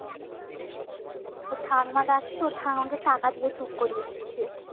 ওর ঠাম্মা ডাকছে ওর ঠাম্মাকে টাটা দিয়ে চুপ করিয়ে দিচ্ছে